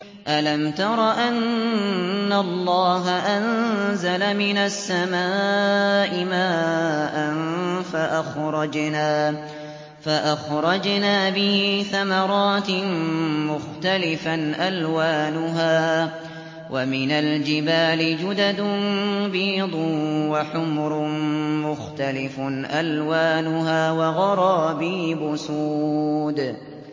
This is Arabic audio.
أَلَمْ تَرَ أَنَّ اللَّهَ أَنزَلَ مِنَ السَّمَاءِ مَاءً فَأَخْرَجْنَا بِهِ ثَمَرَاتٍ مُّخْتَلِفًا أَلْوَانُهَا ۚ وَمِنَ الْجِبَالِ جُدَدٌ بِيضٌ وَحُمْرٌ مُّخْتَلِفٌ أَلْوَانُهَا وَغَرَابِيبُ سُودٌ